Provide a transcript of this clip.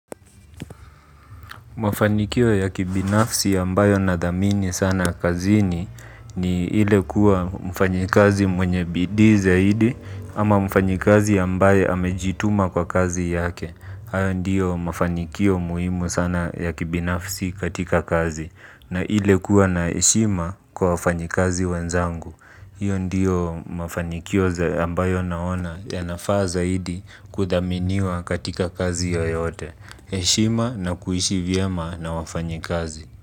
Mafanikio ya kibinafsi ambayo nadhamini sana kazini ni hile kuwa mfanyikazi mwenye bidii zaidi ama mfanyikazi ambayo hamejituma kwa kazi yake. Haya ndiyo mafanikio muhimu sana ya kibinafsi katika kazi na hile kuwa na eshima kwa wafanyikazi wenzangu. Hiyo ndiyo mafanikio ambayo naona ya nafazaidi kudhaminiwa katika kazi yoyote. Eshima na kuhishi vyema na wafanyi kazi.